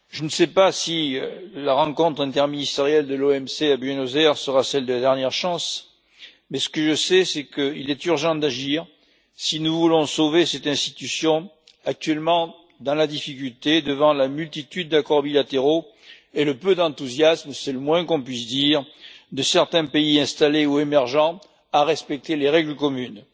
Monsieur le Président, je ne sais pas si la rencontre interministérielle de l'OMC à Buenos Aires sera celle de la dernière chance, mais ce que je sais, c'est qu'il est urgent d'agir si nous voulons sauver cette institution actuellement dans la difficulté devant la multitude d'accords bilatéraux et le peu d'enthousiasme c'est le moins qu'on puisse dire de certains pays installés ou émergents à respecter les règles communes.